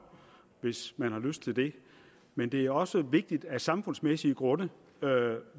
hvis man har lyst til det men det er også vigtigt af samfundsmæssige grunde